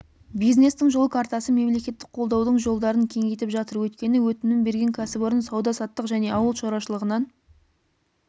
бизнестің жол картасы мемлекеттік қолдаудың жолдарын кеңейтіп жатыр өйткені өтінім берген кәсіпорын сауда-саттық және ауыл шаруашылығынан